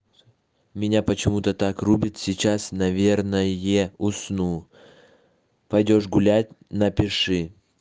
у меня почему-то так рубит сейчас наверное усну пойдёшь гулять напиши